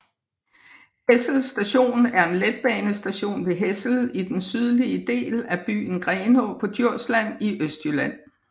Hessel Station er en letbanestation ved Hessel i den sydlige del af byen Grenaa på Djursland i Østjylland